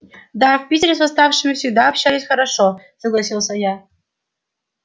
да в питере с восставшими всегда обращались хорошо согласился я